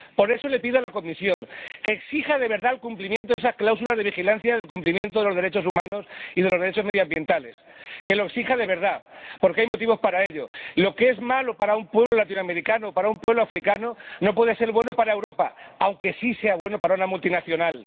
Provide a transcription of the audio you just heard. Por eso pido a la Comisión que exija de verdad el cumplimiento de esas cláusulas de vigilancia del cumplimiento de los derechos humanos y de los derechos medioambientales, que lo exija de verdad, porque hay motivos para ello lo que es malo para un pueblo latinoamericano, para un pueblo africano, no puede ser bueno para Europa, aunque sí sea bueno para una multinacional.